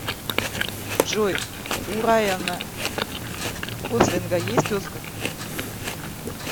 джой у райана гослинга есть оскар